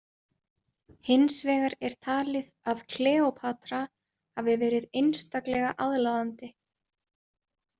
Hins vegar er talið að Kleópatra hafi verið einstaklega aðlaðandi.